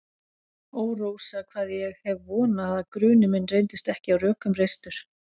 Ó, Rósa, hvað ég hef vonað að grunur minn reyndist ekki á rökum reistur.